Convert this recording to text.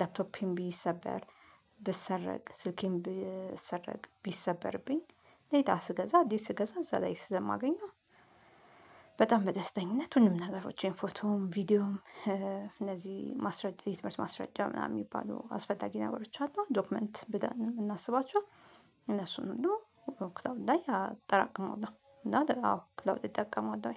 ላፕቶፔም ቢሰበር ብሰረቅ ስልኬም ብሰረቅ ቢሰበርብኝ ሌላ ስገዛ አዴስ ስገዛ እዛ ላይ ስለማገኘው። በጣም በደስተኝነት ሁሉን ነገሮቼን ፎቶም ቪዲዮም እነዚህ ማስረጃ የትምህርት ማስረጃ ምናምን የሚባሉ አስፈላጊ ነገሮች አሉ ዶክመንት ብለን የምናስባቸው እነሱን ሁሉ ክላውድ ላይ አጠራቅማለሁ። እና አዎ ክላውድ እጠቀማለሁ።